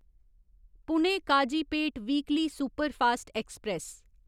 Pune Kazipet weekly superfast express